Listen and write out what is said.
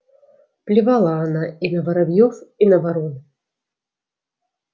плевала она и на воробьёв и на ворон